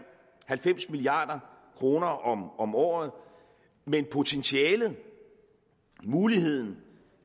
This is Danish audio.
halvfems milliard kroner om om året men potentialet muligheden